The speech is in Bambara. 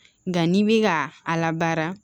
Nka n'i bi ka a labaara